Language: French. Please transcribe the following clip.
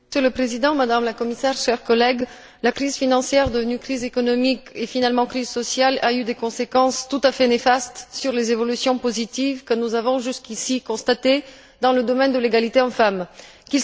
Monsieur le Président, Madame la Commissaire, chers collègues, la crise financière, devenue crise économique et, finalement, crise sociale, a eu des conséquences tout à fait néfastes sur les évolutions positives que nous avions jusqu'ici constatées dans le domaine de l'égalité entre les hommes et les femmes.